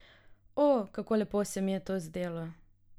O, kako lepo se mi je to zdelo.